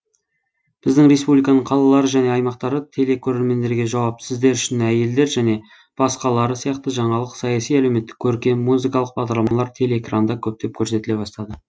біздің республиканың қалалары және аймақтары телекорермендерге жауап сіздер үшін әйелдер және басқалары сиякты жаңалық саяси әлеуметтік көркем музыкалық бағдарламалар телеэкранда көптеп көрсетіле бастады